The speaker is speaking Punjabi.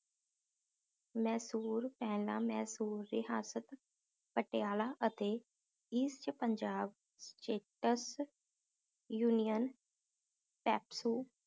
ਮੈਸੂਰ ਪਹਿਲਾਂ ਮੈਸੂਰ ਰਿਹਾਸਤ, ਪਟਿਆਲਾ ਅਤੇ east ਪੰਜਾਬ union pepsu